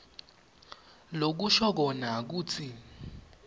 lokusho kona kutsi